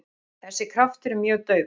Þessi kraftur er mjög daufur.